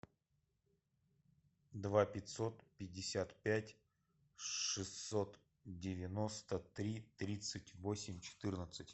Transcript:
два пятьсот пятьдесят пять шестьсот девяносто три тридцать восемь четырнадцать